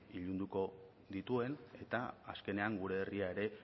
ilunduko dituen eta azkenean gure herria ere